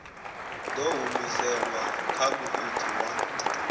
ḓo humiselwa kha muiti wa